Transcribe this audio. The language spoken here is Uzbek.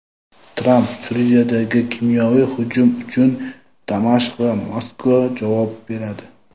Tramp: Suriyadagi kimyoviy hujum uchun Damashq va Moskva javob beradi.